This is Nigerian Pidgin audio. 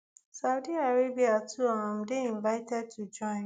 saudi arabia too um dey invited to join